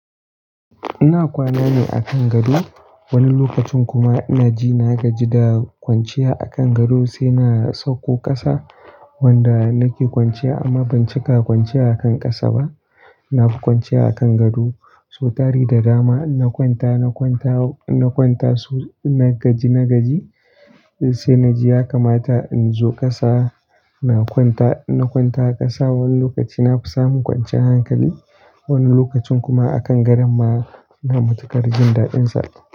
Ina kwana ne a kan gado, wani lokacin kuma na ji na gaji da kwanciya a kan gado sai na sauko ƙasa wanda nake kwanciya. Amma ban cika kwanciya a kan ƙasa ba. Na fi kwanciya a kan gado. So tari da dama na kwanta, na kwanta, na kwanta so, na gaji, na gaji sai na ji ya kamata in zo ƙasa. Na kwanta, na kwanta ƙasa wani lokaci na fi samun kwanciyar hankali, wani lokacin kuma a kan gadon ma na mutu karjin daɗinsa.